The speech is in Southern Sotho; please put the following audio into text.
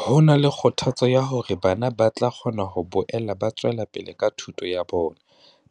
Ho na le kgothatso ya hore bana ba tla kgona ho boela ba tswela pele ka thuto ya bona